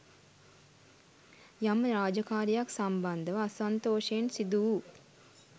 යම් රාජකාරීයක් සම්බන්ධව අසන්තෝෂයෙන් සිදු වූ